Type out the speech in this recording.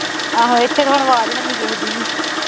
ਆਹੋ ਇੱਥੇ ਤਾਂ ਹੁਣ ਆਵਾਜ਼ ਹੈਨੀ ਕਿਸੇ ਦੀ ਵੀ